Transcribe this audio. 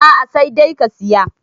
a a sai dai ka Siya